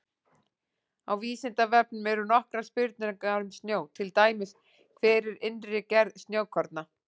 Á Vísindavefnum eru nokkrar spurningar um snjó, til dæmis: Hver er innri gerð snjókorna?